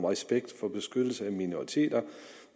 respekt for beskyttelse af minoriteter